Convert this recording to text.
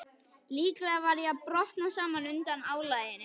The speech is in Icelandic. Líklega var ég að brotna saman undan álaginu.